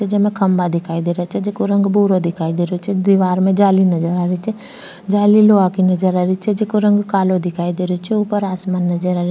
जेमे खम्भा दिखाई दे रा छे जेको रंग भूरो दिखाई दे रो छे दिवार में जाली नजर आ रही छे जाली लोहा की नजर आ रही छे जेको रंग कालो दिखाई दे रो छे ऊपर आसमान नजर आ रो --